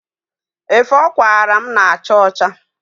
Efe ọ kwaara mụ na-acha ọcha.